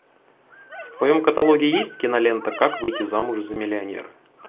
в твоем каталоге есть кинолента как выйти замуж за миллионера